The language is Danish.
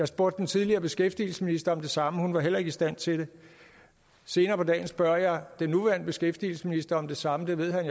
spurgt den tidligere beskæftigelsesminister om det samme hun var heller ikke i stand til det senere på dagen spørger jeg den nuværende beskæftigelsesminister om det samme det ved han